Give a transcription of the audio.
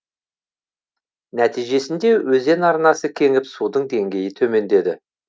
нәтижесінде өзен арнасы кеңіп судың деңгейі төмендеді